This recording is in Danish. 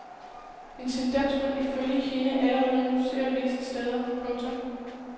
En tendens man ifølge hende allerede nu ser visse steder. punktum